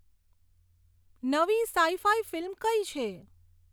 નવી sci fi film કઈ છે